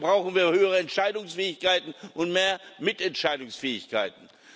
Dafür brauchen wir höhere Entscheidungsfähigkeiten und mehr Mitentscheidungsfähigkeiten.